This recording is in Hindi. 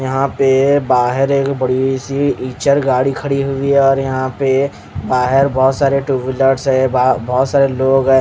यहाँ पे बाहर एक बडीसी इचल गाड़ी कड़ी हुयी है और यहाँ पे बाहर बहुत सारे टू व्हीलर्स है बहा बोहोत सारे लोग ह--.